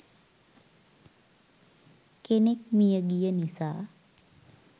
කෙනෙක් මියගිය නිසා.